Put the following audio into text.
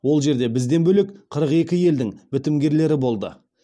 ол жерде бізден бөлек қырық екі елдің бітімгерлері болды